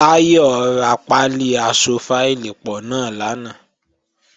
Táyọ̀ ra pálí aṣọ fáìlì pọ̀ náà lánàá